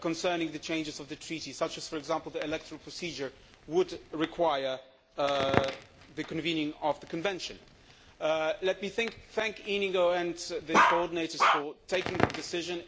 concerning the changes to the Treaty, such as for example the electoral procedure, would require the convening of a convention. Let me thank Íñigo and the coordinators for taking the decision.